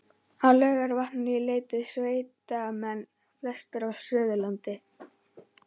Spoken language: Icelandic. Á Laugarvatn leituðu sveitamenn, flestir af Suðurlandi